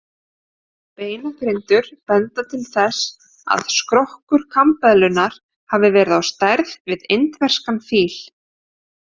Beinagrindur benda til þess að skrokkur kambeðlunnar hafi verið á stærð við indverskan fíl.